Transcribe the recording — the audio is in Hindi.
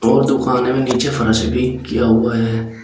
और दुकान में नीचे फर्श भी किया हुआ हैं।